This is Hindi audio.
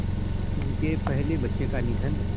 उनके पहले बच्चे का निधन